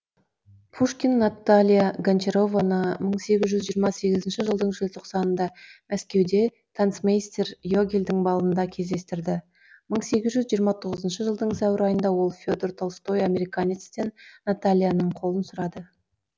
пушкин наталья гончарованы мың сегіз жүз жиырма сегізінші жылдың желтоқсанында мәскеуде танцмейстер йогельдің балында кезіктірді мың сегіз жүз жиырма тоғызыншы жылдың сәуір айында ол федор толстой американецтен натальяның қолын сұрады